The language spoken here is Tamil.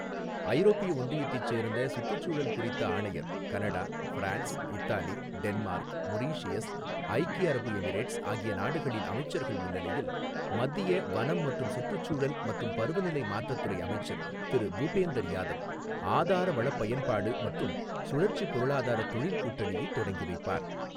ஐரோப்பிய ஒன்றியத்தைச் சேர்ந்த சுற்றுச்சூழல் குறித்த ஆணையர், Canada, France, Italy, Denmark, Mauritius, ஐக்கி அரபு எமிரேட்ஸ் ஆகிய நாடுகளின் அமைச்சர்கள் முன்னிலையில் மத்திய வனம், சுற்றுச்சூழல் மற்றும் பருவநிலை மாற்றத் துறை அமைச்சர் திரு பூபேந்தர் யாதவ் ஆதார வளப் பயன்பாடு மற்றும் சுழற்சிப் பொருளாதாரத் தொழில் கூட்டணியைத் தொடங்கிவைப்பார்.